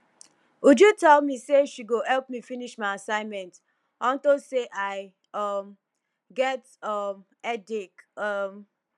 uju tell me say she go help me finish my assignment unto say i um get um headache um